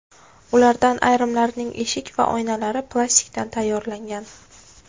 Ulardan ayrimlarining eshik va oynalari plastikdan tayyorlangan.